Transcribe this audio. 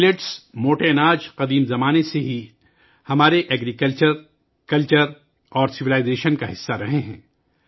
millets, موٹے اناج عہدِ قدیم سے ہی ہماری زراعت، ثقافت اور تہذیب کا حصہ رہے ہیں